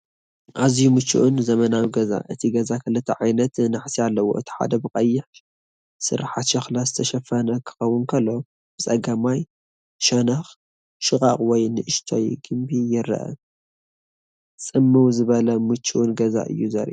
ኣዝዩ ምቹእን ዘመናውን ገዛ ፣ እቲ ገዛ ክልተ ዓይነት ናሕሲ ኣለዎ፤ እቲ ሓደ ብቐይሕ ስርሓት ሸኽላ ዝተሸፈነ ክኸውን ከሎ፡ ብጸጋማይ ሸነኽ ሽቓቕ ወይ ንእሽቶ ግምቢ ይርአ። ጽምው ዝበለን ምቹእን ገዛ እዩ ዘርኢ።